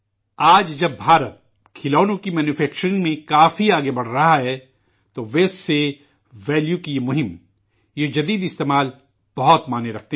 آج جب ہندوستان کھلونوں کی مینوفکچرنگ میں کافی آگے بڑھ رہا ہے تو فضلہ سے قیمت کی یہ مہم یہ اختراعی استعمال بہت معنی رکھتے ہیں